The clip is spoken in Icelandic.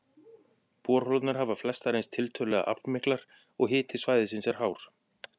Borholurnar hafa flestar reynst tiltölulega aflmiklar, og hiti svæðisins er hár.